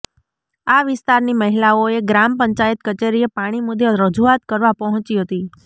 આ વિસ્તારની મહિલાઓએ ગ્રામ પંચાયત કચેરીએ પાણી મુદ્દે રજૂઆત કરવા પહોંચી હતી